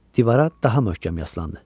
Divara daha möhkəm yaslandı.